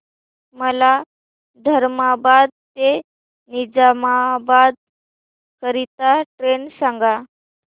मला धर्माबाद ते निजामाबाद करीता ट्रेन सांगा